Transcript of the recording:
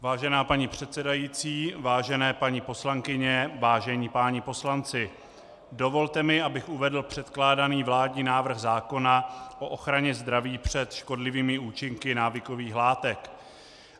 Vážená paní předsedající, vážené paní poslankyně, vážení páni poslanci, dovolte mi, abych uvedl předkládaný vládní návrh zákona o ochraně zdraví před škodlivými účinky návykových látek.